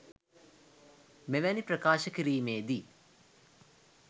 මෙවැනි ප්‍රකාශ කිරීමේ දී